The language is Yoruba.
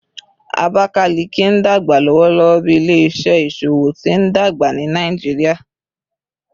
Abakalaki n dagba lọwọlọwọ bi ile-iṣẹ iṣowo ti ndagba ni Nigeria